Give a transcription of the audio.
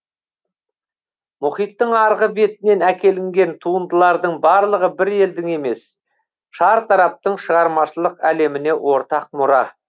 мұхиттың арғы бетінен әкелінген туындылардың барлығы бір елдің емес шартараптың шығармашылық әлеміне ортақ мұра